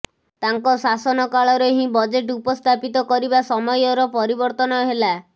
ତାଙ୍କ ଶାସନ କାଳରେ ହିଁ ବଜେଟ୍ ଉପସ୍ଥାପିତ କରିବା ସମୟର ପରିବର୍ତ୍ତନ ହେଲା